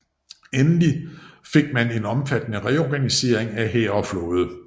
Endelig gik man til en omfattende reorganisation af hær og flåde